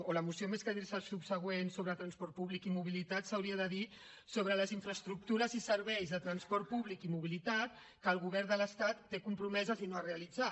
o la moció més que dir se subsegüent sobre el transport públic i mobilitat s’hauria de dir sobre les infraestructures i serveis de transport públic i mobilitat que el govern de l’estat té compromeses i no ha realitzat